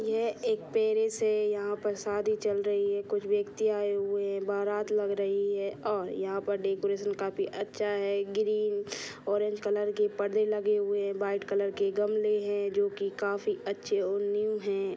ये एक पेरेस है| यहाँ पर शादी चल रही है| कुछ व्यक्ति आए हुए है बारात लग रही है| और यहाँ पर डेकोरेशन काफी अच्छा है| ग्रीन और ऑरेंज कलर के परदे लगे हुए है| वाइट कलर के गमले है जो की काफी अच्छे और न्यू है।